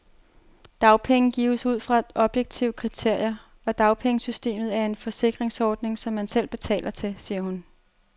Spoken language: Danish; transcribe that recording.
Dagpenge gives ud fra objektive kriterier, og dagpengesystemet er en forsikringsordning, som man selv betaler til, siger hun.